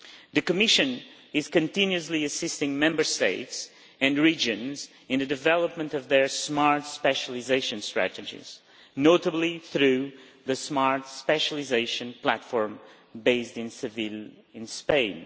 The Commission is continuously assisting Member States and regions in the development of their smart specialisation strategies, notably through the Smart Specialisation Platform based in Seville in Spain.